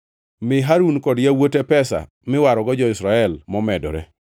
Mi Harun kod yawuote pesa miwarogo jo-Israel momedore.”